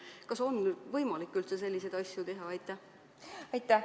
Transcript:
Või kas on üldse võimalik selliseid asju teha?